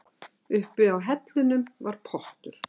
Uppi á hellunum var pottur.